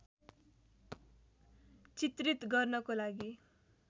चित्रित गर्नको लागि